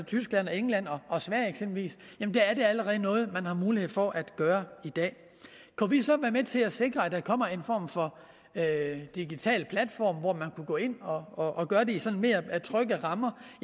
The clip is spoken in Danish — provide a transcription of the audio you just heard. tyskland england og sverige eksempelvis allerede er noget man har mulighed for at gøre i dag kunne vi så være med til at sikre at der kommer en form for digital platform hvor man kan gå ind og gøre det i sådan mere trygge rammer